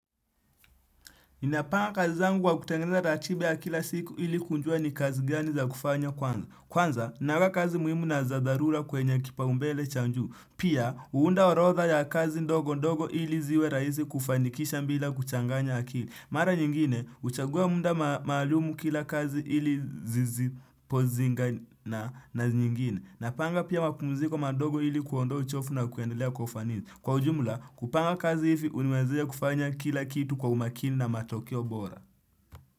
Ninapanga kazi zangu wa kutengeneza ratibi ya kila siku ili kujua ni kazi gani za kufanya kwanza. Kwanza, ninaweka kazi muhimu na za dharura kwenye kipaumbele cha juu. Pia, uunda orotha ya kazi ndogo ndogo ili ziwe rahisi kufanikisha mbila kuchanganya akili. Mara nyingine, uchagua muda maalumu kila kazi ili zizipozinga na nyingine. Napanga pia mapumziko madogo ili kuondoa uchovu na kuendelea kwa ufanisi. Kwa ujumla, kupanga kazi hivi huniwezesha kufanya kila kitu kwa umakini na matokeo bora.